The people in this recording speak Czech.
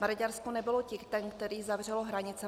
Maďarsko nebylo ten, který zavřel hranice.